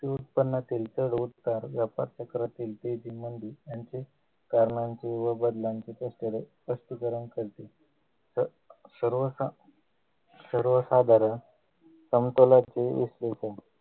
उत्पन्नातील चढउतार जपात चक्रातील यांची कारणांची व वडिलांचे स्पष्टीकरण करते तर सर्वसा सर्वसाधारण समतोलाची